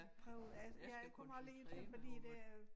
Prøver altså jeg kommer lige til fordi det er øh